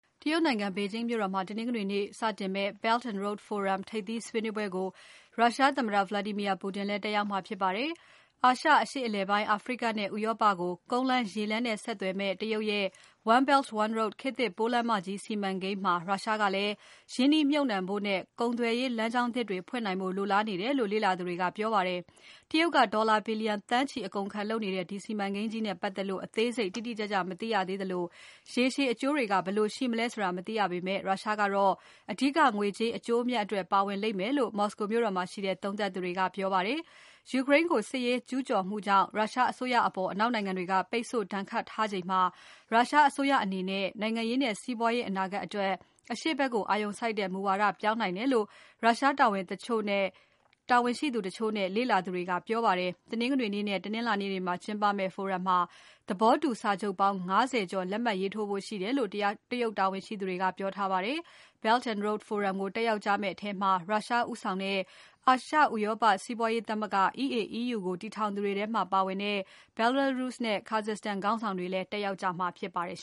တရုတ်နိုင်ငံ ဘေဂျင်းမြို့တော်မှာ တနင်္ဂနွေနေ့စတင်မယ့် Belt and Road Forum ထိပ်သီးဆွေးနွေးပွဲကို ရုရှားသမ္မတ Vladimir Putin လည်း တက်ရောက်မှာဖြစ်ပါတယ်။ အာရှ၊ အရှေ့အလယ်ပိုင်း၊ အာဖရိကနဲ့ ဥရောပကို ကုန်းလမ်း၊ ရေးလမ်းနဲ့ ဆက်သွယ်မယ့် တရုတ်ရဲ့ One Belt -One Road ခေတ်သစ် ပိုးလမ်းမကြီး စီမံကိန်းမှာ ရုရှားကလည်း ရင်းနှီးမြှုပ်နှံဖို့နဲ့ ကုန်သွယ်ရေးလမ်းကြောင်းသစ်တွေဖွင့်နိုင်ဖို့လိုလားနေတယ်လို့ လေ့လာသူတွေက ပြောပါတယ်။ တရုတ်က ဒေါ်လာဘီလျံသန်းချီအကုန်ခံလုပ်နေတဲ့ ဒီစီမံကိန်းကြီးနဲ့ပါတ်သက်လို့ အသေးစိတ်တိတိကျကျမသိရသေးသလို ရေရှည်အကျိုးတွေက ဘယ်လိုရှိမလဲ ဆိုတာလည်း မသိရသေးပေမဲ့ ရုရှားကတော့ အဓိက ငွေကြေးအကျိုးအမြတ်အတွက် ပါဝင်လိမ့်မယ်လို့ မော်စကိုမြို့တော်မှာရှိတဲ့ သုံးသပ်သူတွေက ပြောပါတယ်။ ယူကရိန်းကို စစ်ရေးကျူးကျော်မှုကြောင့် ရုရှားအစိုးရအပေါ် အနောက်နိုင်ငံတွေက ပိတ်ဆို့ဒဏ်ခတ်ထားချိန်မှာ ရုရှားအစိုးရအနေနဲ့ နိုင်ငံရေးနဲ့ စီးပွားရေးအနာဂါတ်အတွက် အရှေ့ဖက်ကိုအာရုံစိုက်တဲ့ မူဝါဒပြောင်းနိုင်တယ်လို့ ရုရှားတာဝန်ရှိသူတချို့နဲ့ လေ့လာသူတွေက ပြောပါတယ်။ တနင်္ဂနွေနဲ့ တနင်္လာနေ့တွေမှာကျင်းပမယ့် Forum မှာ သဘောတူစာချုပ်ပေါင်း ၅၀ ကျော်လက်မှတ်ရေးထိုးဖို့ရှိတယ်လို့ တရုတ်တာဝန်ရှိသူတွေက ပြောပါတယ်။ Belt and Road Forum ကိုတက်ရောက်ကြမယ့်ထဲမှာ ရုရှားဦးဆောင်တဲ့ အာရှဥရောပ စီးပွားရေးသမဂ္ဂ၊ EAEU ကိုတည်ထောင်သူတွေထဲမှာပါတဲ့ Belarus နဲ့ Kazakhstan ခေါင်းဆောင်တွေလည်း တက်ရောက်ကြမှာဖြစ်ပါတယ်